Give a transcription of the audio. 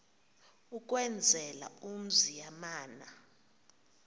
ukwenzela umzi yamana